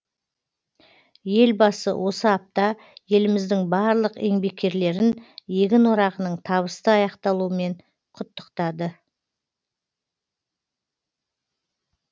елбасы осы апта еліміздің барлық еңбеккерлерін егін орағының табысты аяқталуымен құттықтады